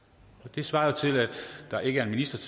det svarer jo til at der ikke er en minister